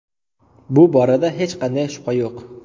Bu borada hech qanday shubha yo‘q.